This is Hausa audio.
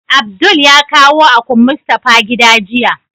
Abdul ya kawo akun Mustapha gida jiya.